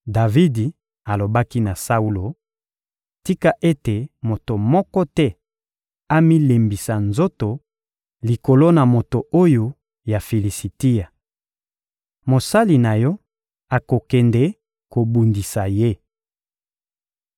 Davidi alobaki na Saulo: — Tika ete moto moko te amilembisa nzoto likolo na moto oyo ya Filisitia. Mosali na yo akokende kobundisa ye.